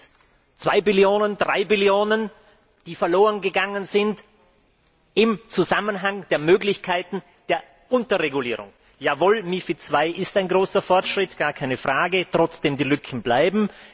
Sind es 2 Billionen, 3 Billionen Euro, die verloren gegangen sind, im Zusammenhang der Möglichkeiten der Unterregulierung? Jawohl, MiFID II ist ein großer Fortschritt gar keine Frage trotzdem die Lücken bleiben.